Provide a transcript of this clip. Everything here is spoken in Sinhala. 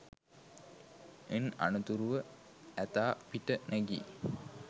ඉන් අනතුරුව ඇතා පිට නැගී